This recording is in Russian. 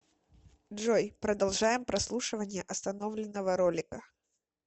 джой продолжаем прослушивание остановленного ролика